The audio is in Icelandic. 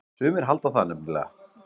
Sumir halda það nefnilega.